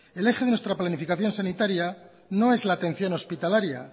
el eje de nuestra planificación sanitaria no es la atención hospitalaria